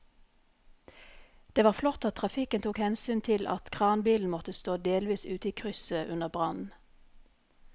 Det var flott at trafikken tok hensyn til at kranbilen måtte stå delvis ute i krysset under brannen.